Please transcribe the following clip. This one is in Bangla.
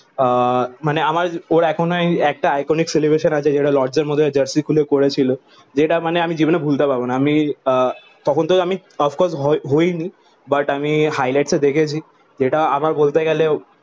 আহ মানে আমার ওরা এখনোও একটা iconic celebration আছে যেটা লর্ডস এর মধ্যে জার্সি খুলে করেছিল। যেটা মানে আমি জীবনে ভুলতে পারবো না। আমি আহ তখন তো আমি হই হইনি। বাট আমি হাইলাইট টা দেখেছি যেটা আমার বলতে গেলে